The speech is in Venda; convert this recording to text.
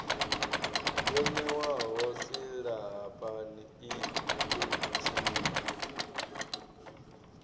yo ṋewaho silahapani i thuthiwa